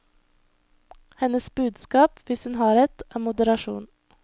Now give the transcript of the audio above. Hennes budskap, hvis hun har et, er moderasjon.